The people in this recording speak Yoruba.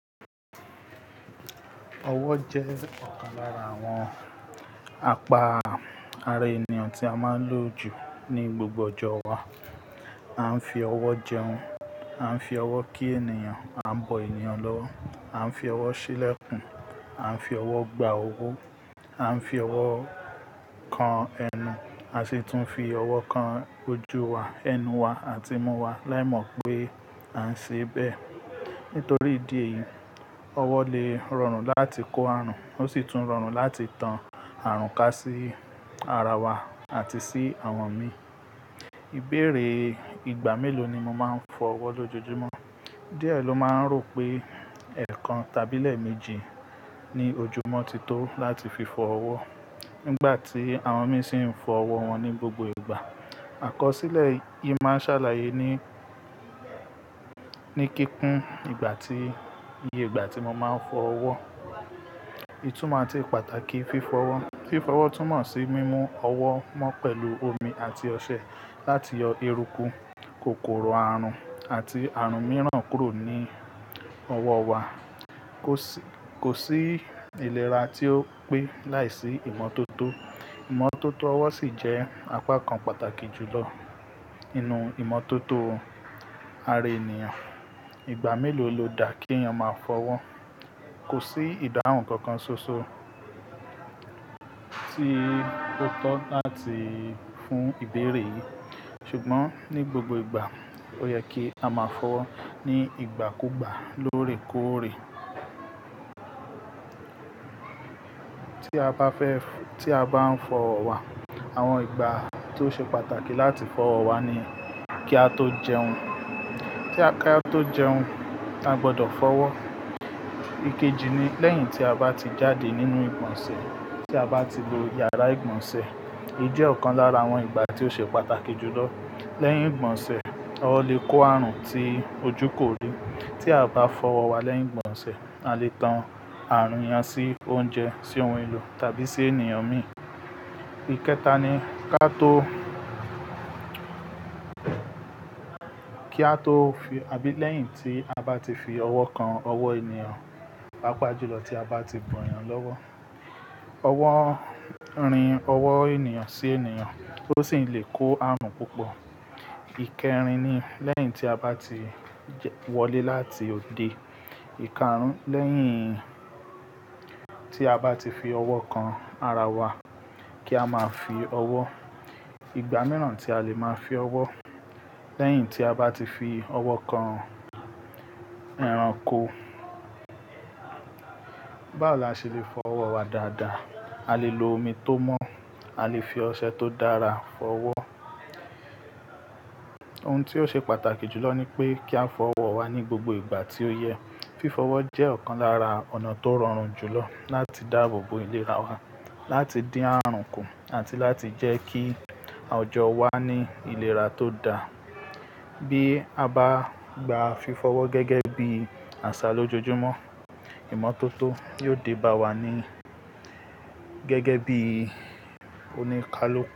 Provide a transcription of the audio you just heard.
Ọwọ́ jẹ́ ọ̀kan lára àwọn apa ara ènìyàn tí a máa ń lò jù ní gbogbo ọjọ́ wa. A ń fi ọwọ́ jẹun, a ń fi ọwọ́ kí ènìyàn, a ń bọ ènìyàn lọ́wọ́, a ń fi ọwọ́ ṣílẹ̀kùn, a ń fi ọwọ́ gba owó, a ń fi ọwọ́ kan ẹnu, a sì tún fi ọwọ́ kan ojú wa, ẹnu wa àti imú wa láìmọ̀ pé à ń ṣe bẹ́ẹ̀. Nítorí ìdí èyí, ọwọ́ lè rọrùn láti kó àrùn, ó sì tún rọrùn láti tan àrùn ká sí ara wa àti sí àwọn mìí. Ìbéèrè ìgbà mélòó ni mo máa ń fọ ọwọ́ lójoojúmọ́? Díẹ̀ ló máa ń rò pé ẹ̀ẹ̀kan tàbí lẹ́ẹ̀mejì ní ojúmọ́ ti tó láti fi fọ ọwọ́. Nígbà tí àwọn mìíràn sì ń fọ ọwọ́ wọn ní gbogbo ìgbà. Àkọsílẹ̀ yìí máa ń ṣàlàyé ní, ní kíkún ìgbà tí, iye ìgbà tí mo máa ń fọ ọwọ́. Ìtumọ̀ àti pàtàkì fífọ́ ọwọ́. Fífọ́ ọwọ́ túnmọ̀ sí mímú ọwọ́ mọ́ pẹ̀lú omi àti ọṣẹ láti yọ eruku, kòkòrò àrùn àti àrùn mìíràn kúrò ní ọwọ́ wa. Kò sí, kò sí ìlera tí ó pé láìsí ìmọ́tótó. Ìmọ́tótó ọwọ́ sì jẹ́ apá kan pàtàkì jùlọ nínú ìmọ́tótó ara ènìyàn. Ìgbà mélòó lo dá kí èèyàn máa fọ ọwọ́? Kò sí ìdáhùn kankan ṣoṣo tí ó tọ́ láti fún ìbéèrè yìí. Ṣùgbọ́n ní gbogbo ìgbà, ó yẹ kí a máa fọ ọwọ́ ní ìgbà kú gbà lórè kórè. Ti a ba fe fo- ti a ba n fo owo wa, awon igba to se pataki lati fo owo wa ni, ki a to jeun Ki a to jeun, a gbodo fowo ikeji ni leyin ti a ba ti jade ninu igbonse, ti a ba ti lo yara igbonse Èyí jẹ́ ọ̀kan lára àwọn ìgbà tí ó ṣe pàtàkì jùlọ. Leyin igbonse, owo le ko aarun ti oju kori Tí a o bá fọ ọwọ́ wa lẹ́yìn ìgbọ̀nsẹ̀, a lè tan àrùn yẹn sí oúnjẹ, sí ohun èlò tàbí sí ènìyàn mìíràn. Ikẹta ni ká tó, kí a tó fi àbí lẹ́yìn tí a bá ti fi ọwọ́ kan ọwọ́ ènìyàn. Papá jùlọ tí a bá ti bọ ẹ̀yàn lọ́wọ́. Ọwọ́ rin ọwọ́ ènìyàn sí ènìyàn ó sì lè kó àrùn púpọ̀. Ti a ba fo owo wa leyin igbonse, a le tan aarun yen si ounje, si ohun elo tabi si eni Ikárùn lẹ́yìn tí a bá ti fi ọwọ́ kan ara wa. Kí a máa fi ọwọ́. Ìgbà mìíràn tí a lè máa fi ọwọ́, lẹ́yìn tí a bá ti fi ọwọ́ kan ẹranko. Báwo la ṣe lè fọ ọwọ́ wa dáadáa? A lè lo omi tó mọ́, a lè fi ọṣẹ tó dára fọ ọwọ́. Ohun tí ó ṣe pàtàkì jùlọ ni pé kí a fọ ọwọ́ wa ní gbogbo ìgbà tí ó yẹ. Fífọ ọwọ́ jẹ́ ọ̀kan lára ọ̀nà tó rọrùn jùlọ láti dáàbòbo ìlera wa, láti din àrùn kù àti láti jẹ́ kí ọjọ́ wa ní ìlera tó dá. Bí a bá gba fífọ ọwọ́ gẹ́gẹ́ bí àṣà lójoojúmọ́, ìmọ́tótó yóò dé bá wa ni gẹ́gẹ́ bí oníkálukú.